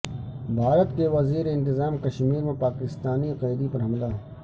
بھارت کے زیرانتظام کشمیر میں پاکستانی قیدی پر حملہ